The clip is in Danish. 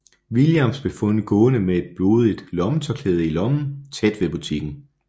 Williams blev fundet gående med et blodigt lommetørklæde i lommen tæt ved butikken